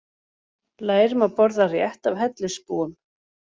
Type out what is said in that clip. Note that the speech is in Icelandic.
Lærum að borða rétt af hellisbúum